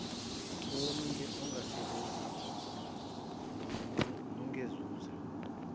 owomile ongasebenzeki nongenanzuzo